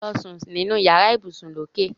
Lọ sún nínú yàrá ibùsùn lókè.